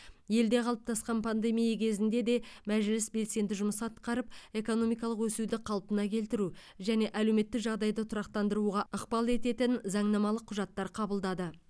елде қалыптасқан пандемия кезінде де мәжіліс белсенді жұмыс атқарып экономикалық өсуді қалпына келтіру және әлеуметтік жағдайды тұрақтандыруға ықпал ететін заңнамалық құжаттар қабылдады